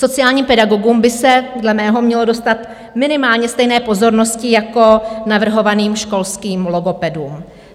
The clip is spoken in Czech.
Sociálním pedagogům by se dle mého mělo dostat minimálně stejné pozornosti jako navrhovaným školským logopedům.